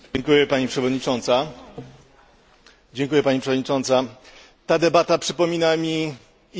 Ta debata przypomina mi inną debatę toczoną kilka miesięcy temu na temat ustaw medialnych na Węgrzech.